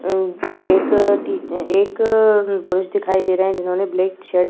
अम्म एक टी एक अअ पुलिस दिखाई दे रहे हैं जिन्होंने ब्लैक शर्ट --